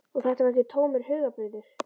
Og þetta var ekki tómur hugarburður.